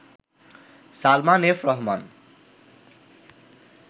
Salman F Rahman